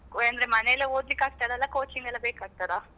ಹಾ ಅಂದ್ರೆ ಮನೆಯಲ್ಲೇ ಓದ್ಲಿಕ್ಕೆ ಆಗ್ತದ ಅಲ್ಲಾ coaching ಗೆಲ್ಲ ಬೇಕಾಗ್ತದಾ?